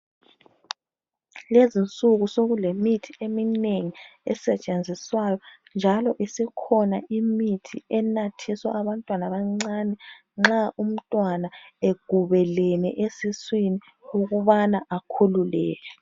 Lezi'nsuku sokulemithi eminengi esetshenziswayo njalo isikhona imithi enathiswa abantwana abancane nxa umntwana egubelene esiswini ukubana akhululeke